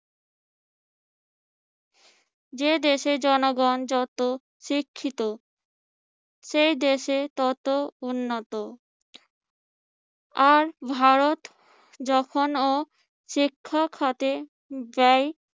যে দেশের জনগণ যত শিক্ষিত সে দেশে তত উন্নত। আর ভারত যখন ও শিক্ষা খাতে ব্যয়